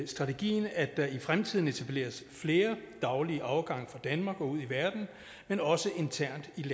strategien at der i fremtiden etableres flere daglige afgange fra danmark og ud i verden men også internt i